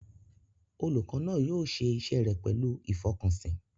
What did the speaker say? Olùkọ́ náà yóò ṣe iṣẹ́ rẹ̀ pẹ̀lú ìfọkànsìn.